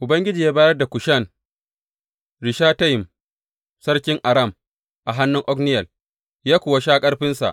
Ubangiji ya bayar da Kushan Rishatayim sarkin Aram a hannun Otniyel, ya kuwa sha ƙarfinsa.